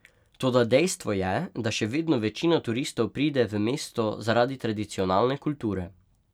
Toda dejstvo je, da še vedno večina turistov pride v mesto zaradi tradicionalne kulture.